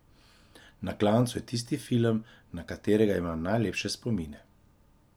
Na klancu je tisti film, na katerega imam najlepše spomine.